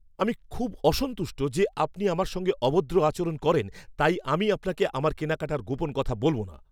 আমি খুব অসন্তুষ্ট যে আপনি আমার সঙ্গে অভদ্র আচরণ করেন, তাই আমি আপনাকে আমার কেনাকাটার গোপন কথা বলব না।